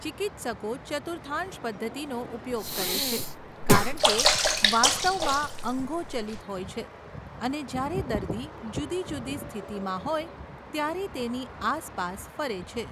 ચિકિત્સકો ચતુર્થાંશ પદ્ધતિનો ઉપયોગ કરે છે કારણ કે, વાસ્તવમાં, અંગો ચલિત હોય છે અને જ્યારે દર્દી જુદી જુદી સ્થિતિમાં હોય ત્યારે તેની આસપાસ ફરે છે.